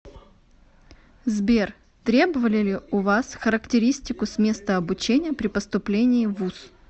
сбер требовали ли у вас характеристику с места обучения при поступлении в вуз